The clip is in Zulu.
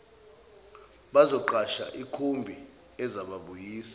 bazoqasha ikhumbi ezababuyisa